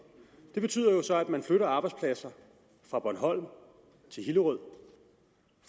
det betyder jo så at man flytter arbejdspladser fra bornholm til hillerød